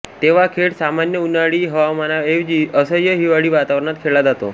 तेव्हा खेळ सामान्य उन्हाळी हवामानाऐवजी असह्य हिवाळी वातावरणात खेळला जातो